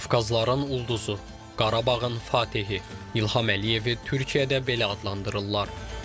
Qafqazların ulduzu, Qarabağın fatehi İlham Əliyevi Türkiyədə belə adlandırırlar.